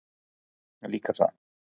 Líka það.